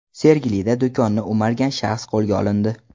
Sergelida do‘konni o‘margan shaxs qo‘lga olindi.